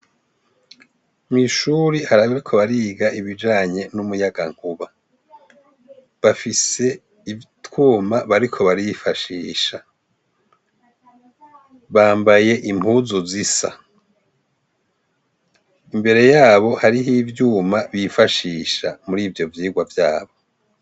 Mw'ishure hari abariko bariga ibijanye n'umuyagankuba bafise utwuma bariko barifashisha bambaye impuzu zisa imbere yabo hariho ivyuma bifashisha muri ivyo vyirwa vyabo.